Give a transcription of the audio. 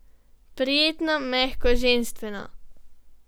Prijetno, mehko, ženstveno.